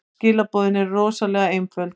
Skilaboðin eru rosalega einföld.